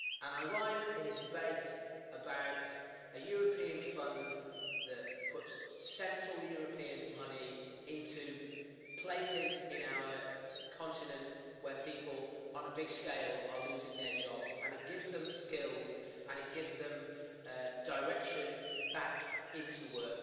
I rise in a debate about a European fund that puts central European money into places in our continent where people on a big scale are losing their jobs, and it gives them skills and it gives them direction back into work.